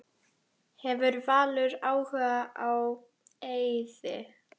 Hefur Valur áhuga á Eiði?